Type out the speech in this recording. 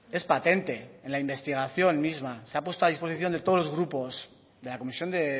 es patente en la investigación misma se ha puesto a disposición de todos los grupos de la comisión de